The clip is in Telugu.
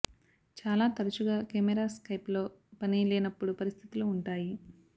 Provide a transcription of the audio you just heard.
చాలా తరచుగా కెమెరా స్కైప్ లో పని లేనప్పుడు పరిస్థితులు ఉంటాయి